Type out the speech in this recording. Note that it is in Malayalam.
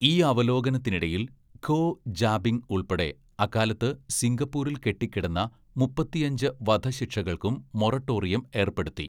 ഈ അവലോകനത്തിനിടയിൽ, ഖോ ജാബിംഗ് ഉൾപ്പെടെ അക്കാലത്ത് സിംഗപ്പൂരിൽ കെട്ടിക്കിടന്ന മുപ്പത്തിയഞ്ച്‌ വധശിക്ഷകൾക്കും മൊറട്ടോറിയം ഏർപ്പെടുത്തി.